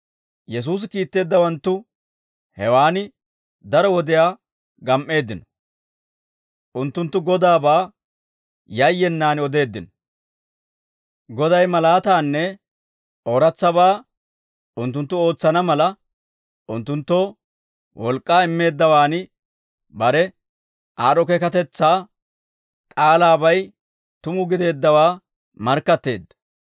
Yesuusi kiitteeddawanttu hewaan daro wodiyaa gam"eeddino; unttunttu Godaabaa yayyenaan odeeddino; Goday malaataanne ooratsabaa unttunttu ootsana mala, unttunttoo wolk'k'aa immeeddawaan bare aad'd'o keekatetsaa k'aalaabay tuma gideeddawaa markkatteedda.